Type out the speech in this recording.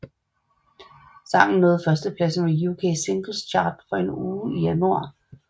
Sangen nåede førstepladsen på UK Singles Chart for en uge i januar 1990 og nåede nummer 35 i Canada